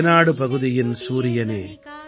ரேனாடு பகுதியின் சூரியனே